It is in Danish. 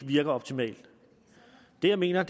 virker optimalt det jeg mener